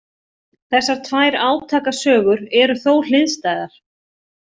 Þessar tvær átakasögur eru þó hliðstæðar.